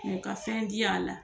Mɛ ka fɛn di y'a la